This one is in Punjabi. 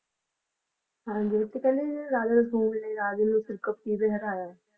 ਹਾਂਜੀ ਤੇ ਕਹਿੰਦੇ ਜਿਹੜੇ Raja Rasalu ਨੇ ਰਾਜੇ ਨੂੰ Sirkap ਤੇ ਵੀ ਹਰਾਇਆ